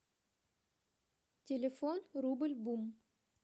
телефон рубль бум